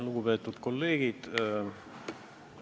Lugupeetud kolleegid!